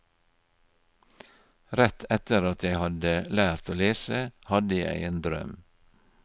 Rett etter at jeg hadde lært å lese, hadde jeg en drøm.